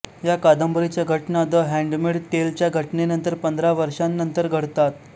या कादंबरीच्या घटना द हॅन्डमेड टेलच्या घटनेनंतर पंधरा वर्षांनंतर घडतात